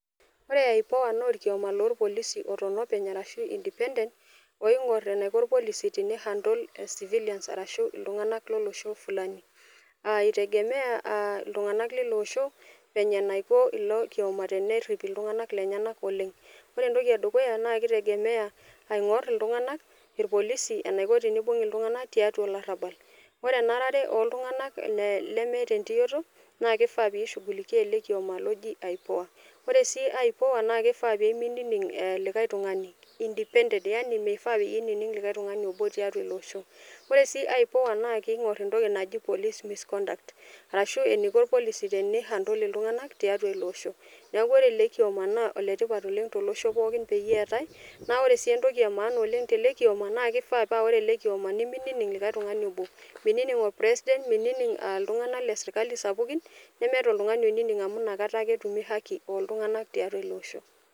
Ore ipoa na orkiama lorpolisi loton openy arashu independent oingur eniko orpolisi pei handle civilians arashu ltunganak lolosho flani aitegemea ltunganak leiloosho Vile naiko ilokioma eniko tenerip ltunganak lenyenak Oleng ore entoki edukuya na kitegemea aingor ltunganak orpolisi enaiko teneibung ltunganak tiatua olarabal ore olarabal loltunganak lemeeta entioto na kifaa pishugulikia ele kioma oji ipoa, ore si ipoa na kifaa pemeinining likae tungani [cs[indipendent yani mifaa pinininng likae tungani tiatua ilo oshoore si ipoa na kingor entoki naji police misconduct arashu eniko orpolisi pi[handle ltunganak tiatua iloosho neaku ore elekiama na oletipat oleng tiatua iloosho pooki peetae, na ore entoki emaana peetae telekiom na kifaa pa ore ele kiomo nemining oltungani Obo, minining [orpresident minining oltungani obo ore ltunganak leserkali sapukin nemeeta oloininng amu nakata akeetumu haki oltunganak tiatua ilo osho.